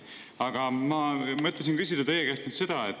Aga ma mõtlesin küsida teie käest seda.